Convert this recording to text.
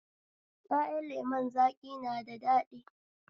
Ƴaƴan lemon zaƙi na da daɗi